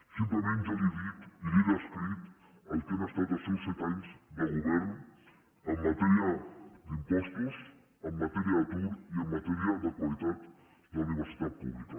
simplement jo li he dit i li he descrit el que han estat els seus set anys de govern en matèria d’impostos en matèria d’atur i en matèria de qualitat de la universitat pública